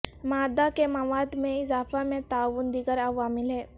مادہ کے مواد میں اضافہ میں تعاون دیگر عوامل ہیں